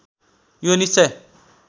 यो निश्चय